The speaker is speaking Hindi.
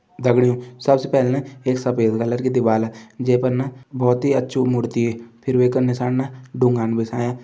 दगड़ियों सबसे पहले ना एक सफ़ेद कलर की दिवाला जै पर ना बहोत ही अच्छु मूर्ति फिर वैका नीसाण ना ढुंगु ।